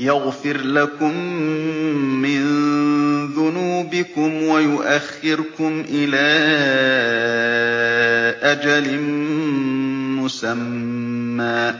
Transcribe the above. يَغْفِرْ لَكُم مِّن ذُنُوبِكُمْ وَيُؤَخِّرْكُمْ إِلَىٰ أَجَلٍ مُّسَمًّى ۚ